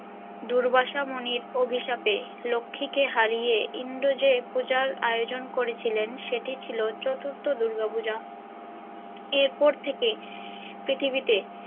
দুর্বাসা মনির অভিশাপে লক্ষ্মীকে হারিয়ে ইন্দ্র যে পূজার আয়োজন করেছিলেন সেটি ছিল চতুর্থ দূর্গাপূজা এরপর থেকে পৃথিবীতে।